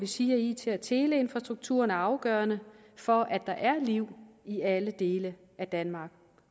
sige at it og teleinfrastrukturen er afgørende for at der er liv i alle dele af danmark